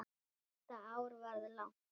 Þetta ár varð langt.